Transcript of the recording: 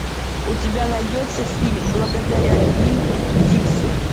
у тебя найдется фильм благодаря винн дикси